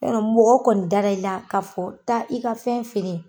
Ya dɔn mɔgɔ kɔni dara i la ka fɔ taa i ka fɛn feere